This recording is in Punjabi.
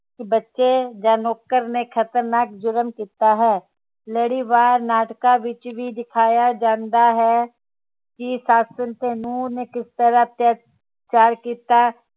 ਬੱਚੇ ਜਾ ਨੌਕਰ ਨੇ ਖ਼ਤਰਨਾਕ ਜੁਰਮ ਕੀਤਾ ਹੈ ਲੜੀਵਾਰ ਨਾਟਕਾਂ ਵਿਚ ਵੀ ਦਿਖਾਇਆ ਜਾਂਦਾ ਹੈ ਕਿ ਸੱਸ ਤੇ ਨੂੰਹ ਨੇ ਕਿਸ ਤਰਾਹ ਅੱਤਿਆਚਾਰ ਕੀਤਾ